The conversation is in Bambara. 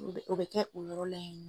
O bɛ kɛ o yɔrɔ la yan nɔ.